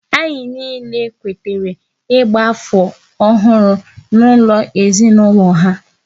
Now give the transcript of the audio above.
Anyị niile kwetara ịgba afọ ọhụrụ n'ụlọ ezinaụlọ ha